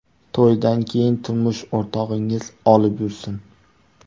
To‘ydan keyin turmush o‘rtog‘ingiz olib yursin”.